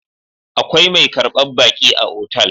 Akwai mai karbar baƙi a otal